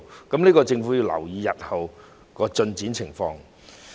所以，政府要留意日後的進展情況。